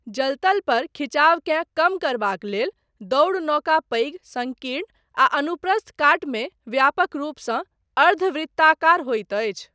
जलतल पर खिचावकेँ कम करबाक लेल दौड़ नौका पैघ, सङ्कीर्ण आ अनुप्रस्थ काटमे व्यापक रूपसँ अर्ध वृत्ताकार होइत अछि।